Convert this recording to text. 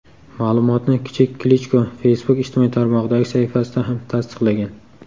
Ma’lumotni kichik Klichko Facebook ijtimoiy tarmog‘idagi sahifasida ham tasdiqlagan.